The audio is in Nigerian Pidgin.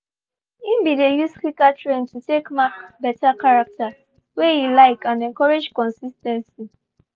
he been they use clicker train to take mark better character wey he like and encourage consis ten cy